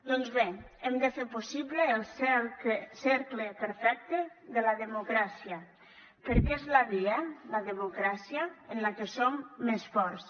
doncs bé hem de fer possible el cercle perfecte de la democràcia perquè és la via la democràcia en la que som més forts